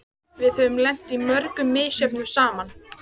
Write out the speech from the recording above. Við höfum lent í mörgu misjöfnu saman.